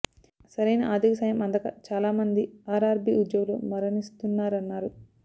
సరైన ఆర్ధిక సాయం అందక చాలా మంది ఆర్ఆర్బీ ఉద్యోగులు మరణిస్తున్నారన్నారు